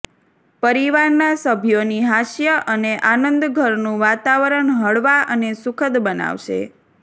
પરિવારના સભ્યોની હાસ્ય અને આનંદ ઘરનું વાતાવરણ હળવા અને સુખદ બનાવશે